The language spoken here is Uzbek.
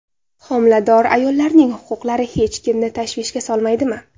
Homilador ayollarning huquqlari hech kimni tashvishga solmaydimi?